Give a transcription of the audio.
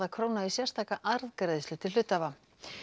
króna í sérstaka arðgreiðslu til hluthafa